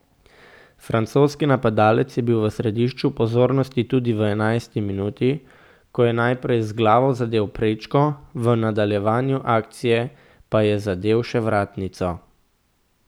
Francoski napadalec je bil v središču pozornosti tudi v enajsti minuti, ko je naprej z glavo zadel prečko, v nadaljevanju akcije pa je zadel še vratnico.